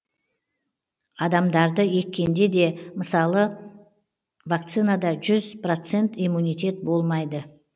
даже адамдарды еккенде де мысалы любой вакцинада жүз процент иммунитет болмайды